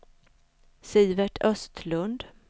Sivert Östlund